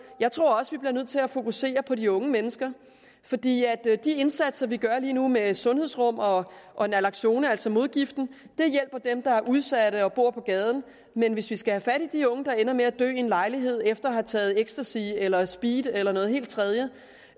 jeg tror også vi bliver nødt til at fokusere på de unge mennesker for de indsatser vi gør lige nu med sundhedsrum og og naloxone altså modgiften hjælper dem der er udsatte og bor på gaden men hvis vi skal have fat i de her unge der ender med at dø i en lejlighed efter at have taget ecstasy eller speed eller noget helt tredje